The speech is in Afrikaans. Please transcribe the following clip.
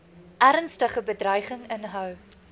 ernstige bedreiging inhou